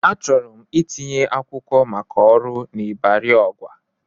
Achọrọ m itinye akwụkwọ maka ọrụ n'Ịbari Ọgwa.